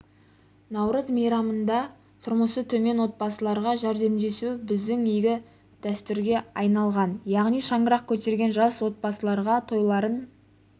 наурыз мейрамында тұрмысы төмен отбасыларға жәрдемдесу біздің игі дәстүрге айналған яғни шаңырақ көтерген жас отбасыларға тойларын